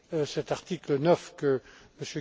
cet article 9 que